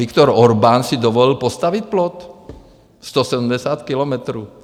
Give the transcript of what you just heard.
Viktor Orbán si dovolil postavit plot, 170 kilometrů.